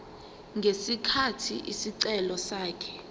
ngesikhathi isicelo sakhe